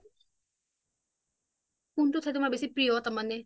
কোনটো ঠাই তোমাৰ সকলোতকে প্ৰিয় তাৰ মানে